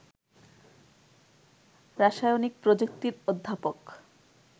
রাসায়নিক প্রযুক্তির অধ্যাপক